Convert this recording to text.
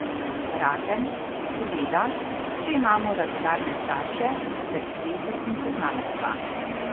Razen, seveda, če imamo radodarne starše ter zveze in poznanstva.